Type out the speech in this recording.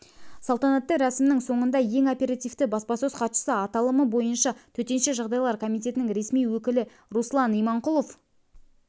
салтанатты рәсімнің соңында ең оперативті баспасөз хатшысы аталымы бойынша төтенше жағдайлар комитетінің ресми өкілі руслан иманқұлов